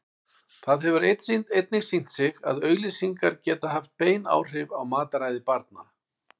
Það hefur einnig sýnt sig að auglýsingar geta haft bein áhrif á mataræði barna.